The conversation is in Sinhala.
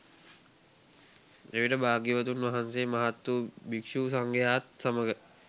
එවිට භාග්‍යවතුන් වහන්සේ මහත් වූ භික්ෂු සංඝයා ත් සමඟ